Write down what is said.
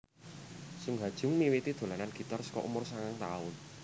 Sung Ha Jung miwiti dolanan gitar saka umur sangang taun